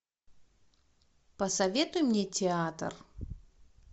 посоветуй мне театр